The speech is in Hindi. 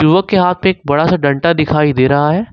युवक के हाथ में एक बड़ा सा डंडा दिखाई दे रहा है।